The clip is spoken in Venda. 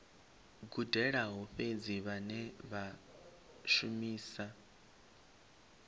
gudelaho fhedzi vhane vha shumisa